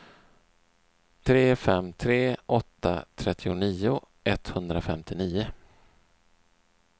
tre fem tre åtta trettionio etthundrafemtionio